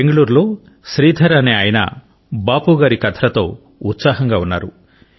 బెంగుళూరులో శ్రీధర్ అనే ఆయన బాపూగారి కథలతో ఉత్సాహంగా ఉన్నారు